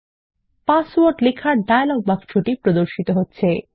password লেখার dialog বাক্স প্রদর্শিত হচ্ছে160